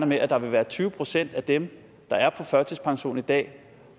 med at der vil være tyve procent af dem der er på førtidspension i dag